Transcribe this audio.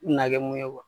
Na kɛ mun ye